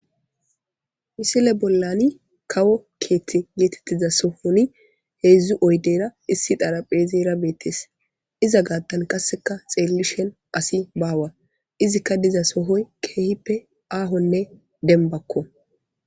Missile bollan kawo kethe getetiza sohan 3 oydenne1 xarahpezeyra betes iza gathan qase xelishin asiy bawa. Izzinne de'izasoy kehippe ahonne dembakko